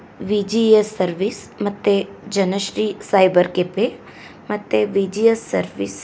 VGS service ಮತ್ತೆ Janashri cyber cafe ಮತ್ತೆ V G S service .